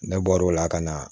Ne bɔr'o la ka na